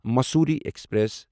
Mussoorie express